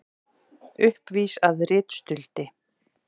Uppvís að ritstuldi